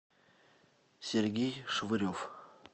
сергей швырев